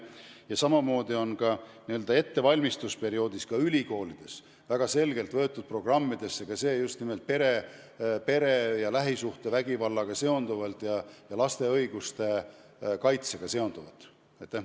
Ja ülikoolides on spetsialistide n-ö ettevalmistusperioodis programmidesse võetud pere- ja lähisuhtevägivallaga seonduvaid ning laste õiguste kaitsega seonduvaid teemasid.